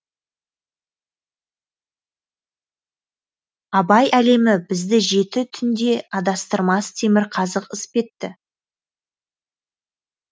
абай әлемі бізді жеті түнде адастырмас темірқазық іспетті